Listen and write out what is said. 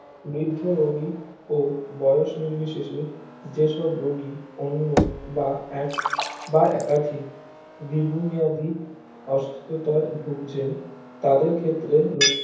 বৃদ্ধ রোগী ও বয়স নির্বিশেষে জেসব রোগী অন্য বা এক বা একাধিক দীরঘমেয়াদী অসুস্থতায় ভুগছেন তাদের ক্ষেত্রে রোগ